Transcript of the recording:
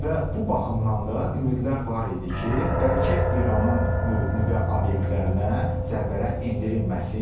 Və bu baxımdan da ümidlər var idi ki, bəlkə İranın nüvə obyektlərinə zərbələr endirilməsin.